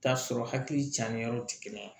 T'a sɔrɔ hakili can yɔrɔ ti kelen ye